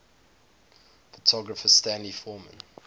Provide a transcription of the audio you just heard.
photographer stanley forman